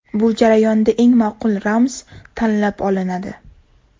Bu jarayonda eng ma’qul ramz tanlab olinadi.